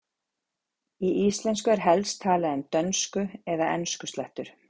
í íslensku er helst talað um dönsku eða enskuslettur